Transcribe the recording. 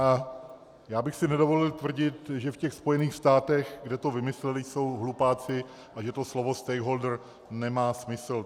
A já bych si nedovolil tvrdit, že v těch Spojených státech, kde to vymysleli, jsou hlupáci a že to slovo stakeholder nemá smysl.